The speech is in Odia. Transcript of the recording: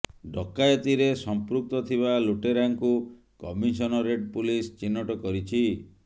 ଡକାୟତିରେ ସମ୍ପୃକ୍ତ ଥିବା ଲୁଟେରାଙ୍କୁ କମିସନରେଟ୍ ପୁଲିସ ଚିହ୍ନଟ କରିଛି